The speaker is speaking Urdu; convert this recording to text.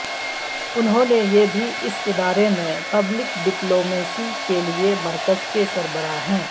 انہوں نے یہ بھی اس ادارے میں پبلک ڈپلومیسی کے لئے مرکز کے سربراہ ہیں